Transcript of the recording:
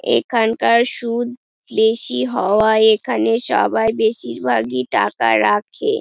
এখানকার সুদ বেশি হওয়ায় এখানে সবাই বেশিরভাগই টাকা রাখে।